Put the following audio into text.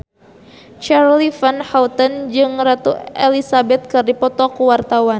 Charly Van Houten jeung Ratu Elizabeth keur dipoto ku wartawan